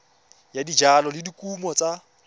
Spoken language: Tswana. ya dijalo le dikumo tsa